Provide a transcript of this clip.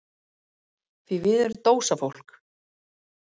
Því við erum dósafólk.